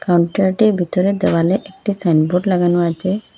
কাউন্টারটির ভিতরের দেওয়ালে একটি সাইনবোর্ড লাগানো আচে।